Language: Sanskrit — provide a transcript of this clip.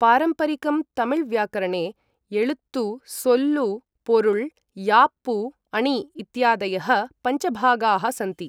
पारम्परिकं तमिल् व्याकरणे एळुत्तु, सोल्लु, पोरुळ्, याप्पु, अणि इत्यादयः पञ्चभागाः सन्ति।